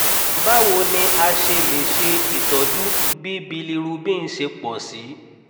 báwo ni a ṣe lè ṣe itọju bí bilirubin ṣe pọ̀ sí i?